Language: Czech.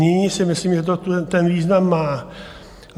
Nyní si myslím, že to ten význam má.